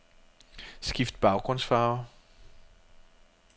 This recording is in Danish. Skift baggrundsfarve.